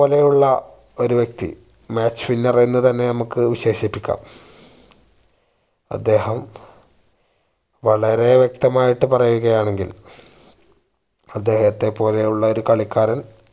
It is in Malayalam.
ലെയുള്ള ഒരു വ്യക്തി match winner എന്ന് തന്നെ നമ്മക്ക് വിശേഷിപ്പികാം അദ്ദേഹം വളരെ വ്യക്തമായിട്ട് പറയുകയാണെങ്കി അദ്ദേഹത്തെ പോലെ ഉള്ള ഒരു കളിക്കാരൻ